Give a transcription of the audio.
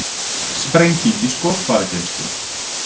Sprenging í skotfærageymslu